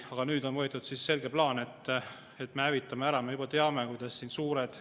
Aga nüüd on võetud selge plaan, et me hävitame ära.